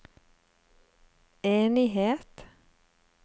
enighet